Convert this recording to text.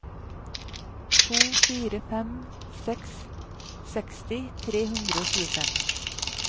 to fire fem seks seksti tre hundre og tjuefem